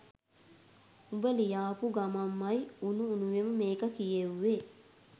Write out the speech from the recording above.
උඹ ලියාපු ගමන්මයි උණු උණුවේම මේක කියෙව්වේ